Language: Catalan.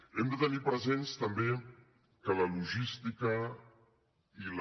hem de tenir present també que la logística i la